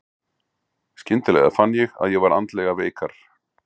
Skyndilega fann ég að ég var andlega veikar.